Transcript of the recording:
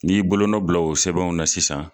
N'i bolonɔ bila o sɛbɛnw na sisan